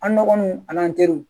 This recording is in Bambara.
An dɔgɔnunw an n'an teriw